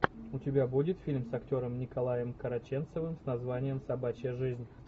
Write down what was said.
у тебя будет фильм с актером николаем караченцевым с названием собачья жизнь